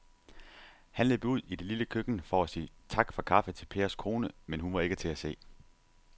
Han løb ud i det lille køkken for at sige tak for kaffe til Pers kone, men hun var ikke til at se.